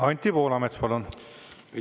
Anti Poolamets, palun!